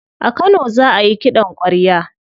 A kano za ayi kiɗan kwarya.